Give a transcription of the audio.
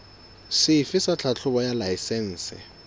sefe sa tlhahlobo ya laesense